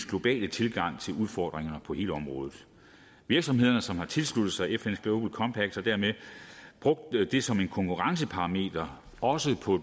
globale tilgang til udfordringer på hele området virksomhederne som har tilsluttet sig fns global compact har dermed brugt det som en konkurrenceparameter også på